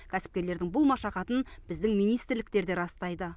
кәсіпкерлердің бұл машақатын біздің министрліктер де растайды